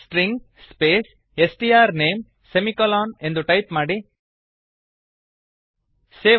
string space S T R name semicolon string str name ಎಂದು type ಮಾಡಿ